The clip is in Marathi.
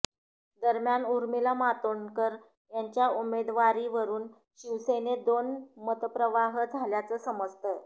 दरम्यान उर्मिला मातोंडकर यांच्या उमेदवारीवरुन शिवसेनेत दोन मतप्रवाह झाल्याचं समजतं